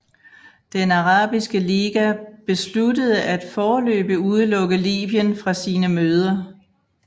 Den Arabiske Liga besluttede at foreløbig udelukke Libyen fra sine møder